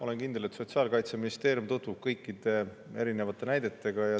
Olen kindel, et Sotsiaalministeerium tutvub kõikide erinevate näidetega.